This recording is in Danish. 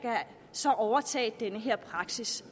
så kan overtage denne praksis